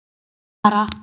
Ætli ég deyi ekki bara?